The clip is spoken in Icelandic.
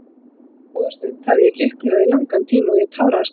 Svo góða stund hafði ég ekki upplifað í langan tíma og ég táraðist af hamingju.